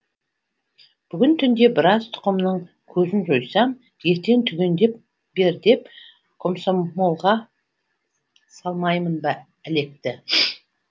бүгін түнде біраз тұқымның көзін жойсам ертең түгендеп бер деп комсомолға салмаймын ба әлекті